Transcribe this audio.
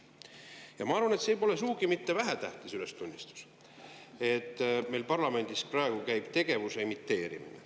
Ja ma arvan, et see pole sugugi mitte vähetähtis ülestunnistus, et meil parlamendis käib praegu tegevuse imiteerimine.